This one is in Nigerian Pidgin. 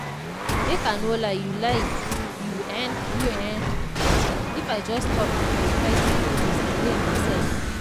make i no lie you lie you[um]if i just stop to dey fight my feelings my brain go set